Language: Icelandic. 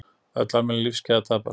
Öll almennileg lífsgæði að tapast.